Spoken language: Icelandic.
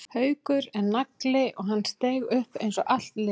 Haukur er nagli og hann steig upp eins og allt liðið.